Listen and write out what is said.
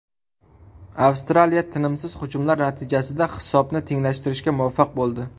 Avstraliya tinimsiz hujumlar natijasida hisobni tenglashtirishga muvaffaq bo‘ldi.